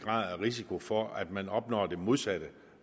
risiko for at man opnår det modsatte